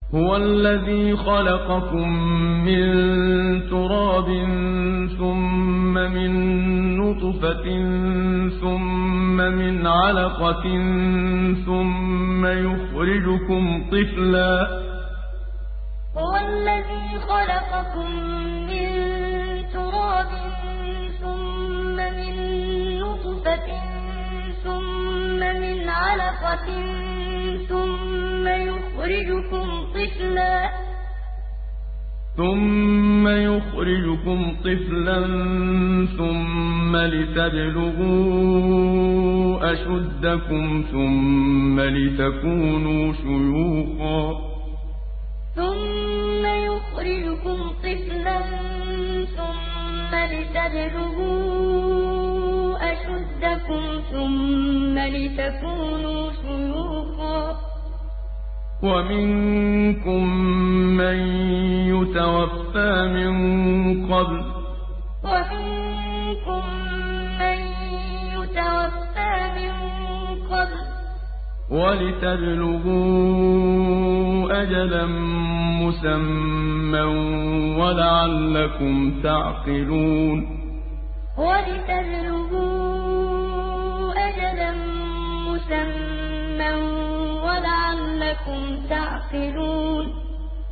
هُوَ الَّذِي خَلَقَكُم مِّن تُرَابٍ ثُمَّ مِن نُّطْفَةٍ ثُمَّ مِنْ عَلَقَةٍ ثُمَّ يُخْرِجُكُمْ طِفْلًا ثُمَّ لِتَبْلُغُوا أَشُدَّكُمْ ثُمَّ لِتَكُونُوا شُيُوخًا ۚ وَمِنكُم مَّن يُتَوَفَّىٰ مِن قَبْلُ ۖ وَلِتَبْلُغُوا أَجَلًا مُّسَمًّى وَلَعَلَّكُمْ تَعْقِلُونَ هُوَ الَّذِي خَلَقَكُم مِّن تُرَابٍ ثُمَّ مِن نُّطْفَةٍ ثُمَّ مِنْ عَلَقَةٍ ثُمَّ يُخْرِجُكُمْ طِفْلًا ثُمَّ لِتَبْلُغُوا أَشُدَّكُمْ ثُمَّ لِتَكُونُوا شُيُوخًا ۚ وَمِنكُم مَّن يُتَوَفَّىٰ مِن قَبْلُ ۖ وَلِتَبْلُغُوا أَجَلًا مُّسَمًّى وَلَعَلَّكُمْ تَعْقِلُونَ